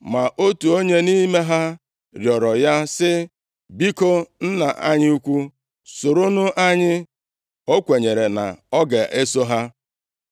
Ma otu onye nʼime ha rịọrọ ya sị, “Biko, nna anyị ukwu, soronụ anyị.” O kwenyere na ọ ga-eso ha.